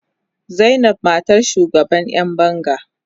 Zainab matar shugaban yan banga.